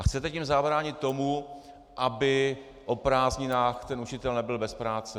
A chcete tím zabránit tomu, aby o prázdninách ten učitel nebyl bez práce.